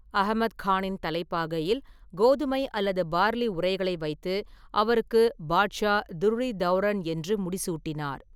அகமத் கானின் தலைப்பாகையில் கோதுமை அல்லது பார்லி உறைகளை வைத்து, அவருக்கு பாட்ஷா, துர்ர்-இ-தௌரன் என்று முடிசூட்டினார்.